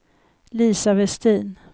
Lisa Vestin